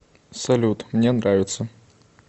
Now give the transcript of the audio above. салют мне нравится